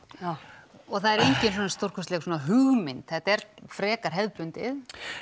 og það er enginn svona stórkostleg svona hugmynd þetta er frekar hefðbundið